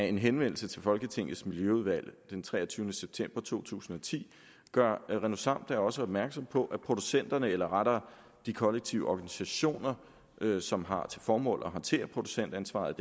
en henvendelse til folketingets miljøudvalg den treogtyvende september to tusind og ti gør renosam da også opmærksom på at producenterne eller rettere de kollektive organisationer som har til formål at håndtere producentansvaret